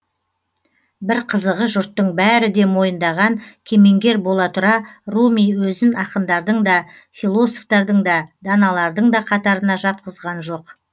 бір қызығы жұрттың бәрі де мойындаған кемеңгер бола тұра руми өзін ақындардың да философтардың да даналардың да қатарына жатқызған жоқ